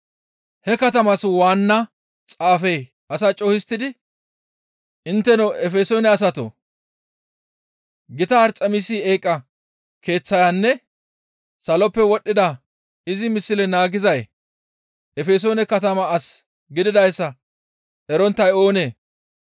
He katamaas waanna xaafey asaa co7u histtidi, «Intteno Efesoone asatoo! Gita Arxemisi eeqa keeththayonne saloppe wodhdhida izi misle naagizay Efesoone katama as gididayssa eronttay oonee?